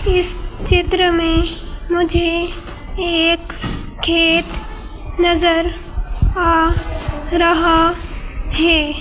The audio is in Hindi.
इस चित्र में मुझे एक खेत नजर आ रहा है।